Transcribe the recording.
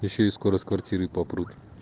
да ещё и скоро с квартиры попрут